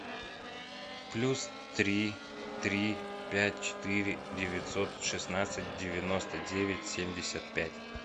плюс три три пять четыре девятьсот шестнадцать девяносто девять семьдесят пять